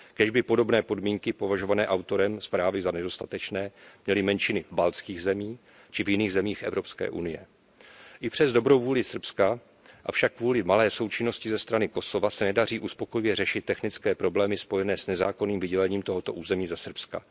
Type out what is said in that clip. Kéž by podobné podmínky považované autorem zprávy za nedostatečné měly menšiny v baltských zemích či v jiných zemích EU. I přes dobrou vůli Srbska, avšak kvůli malé součinnosti ze strany Kosova, se nedaří uspokojivě řešit technické problémy spojené s nezákonným vydělením tohoto území ze Srbska.